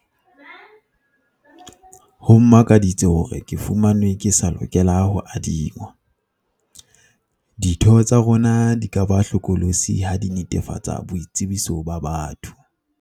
Ho mmakaditse hore ke fumanwe ke sa lokela ho adingwa. Ditho tsa rona di ka ba hlokolosi ha di netefatsa boitsebiso ba batho.